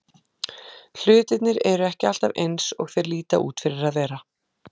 Hlutirnir eru ekki alltaf eins og þeir líta út fyrir að vera.